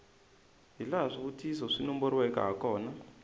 hilaha swivutiso swi nomboriweke hakona